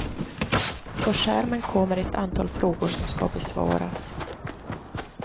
På skärmen kommer att antal frågor som ska besvaras.